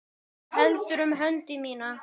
Hann heldur um hönd mína.